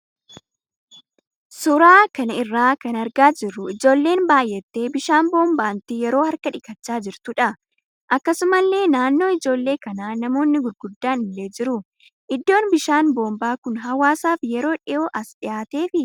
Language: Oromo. Suuraa kana irraa kan argaa jirruu ijoolleen baay'attee bishaan boombaatti yeroo harka dhiqachaa jirtuudha. Akkasumallee naannoo ijoollee kanaa namoonni gurguddaan illee jiru. Iddoon bishaan boombaa kun hawaasaaf yeroo dhiyoo as dhiyaateefii?